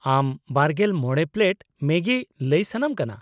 ᱟᱢ ᱒᱕ ᱯᱞᱮᱴ ᱢᱮᱜᱤ ᱞᱟᱹᱭ ᱥᱟᱱᱟᱢ ᱠᱟᱱᱟ ?